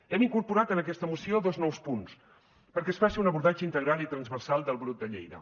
hem incorporat en aquesta moció dos nous punts perquè es faci un abordatge integral i transversal del brot de lleida